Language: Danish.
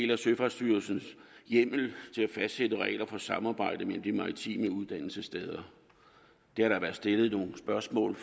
der søfartsstyrelsens hjemmel til at fastsætte regler for samarbejde med de maritime uddannelsessteder det har der været stillet nogle spørgsmål